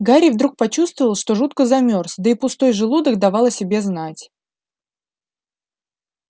гарри вдруг почувствовал что жутко замёрз да и пустой желудок давал о себе знать